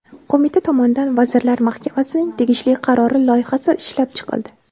Qo‘mita tomonidan Vazirlar Mahkamasining tegishli qarori loyihasi ishlab chiqildi.